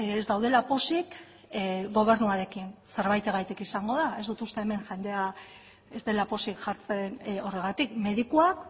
ez daudela pozik gobernuarekin zerbaitengatik izango da ez dut uste hemen jendea ez dela pozik jartzen horregatik medikuak